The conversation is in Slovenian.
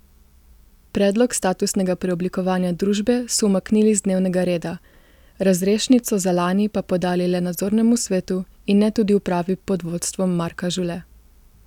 Predlog statusnega preoblikovanja družbe so umaknili z dnevnega reda, razrešnico za lani pa podali le nadzornemu svetu in ne tudi upravi pod vodstvom Marka Žule.